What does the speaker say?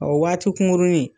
O waati kuŋuruni